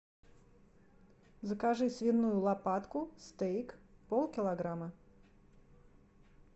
закажи свиную лопатку стейк полкилограмма